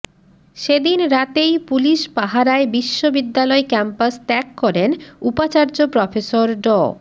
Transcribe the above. সেদিন রাতেই পুলিশ পাহারায় বিশ্ববিদ্যালয় ক্যাম্পাস ত্যাগ করেন উপাচার্য প্রফেসর ড